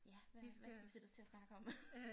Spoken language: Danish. Ja hvad skal vi sætte os til at snakke om